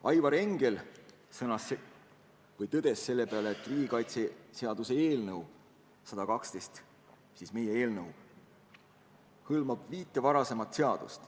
Aivar Engel tõdes selle peale, et riigikaitseseaduse eelnõu 112 ehk siis praegu arutatav eelnõu hõlmab viit varasemat seadust.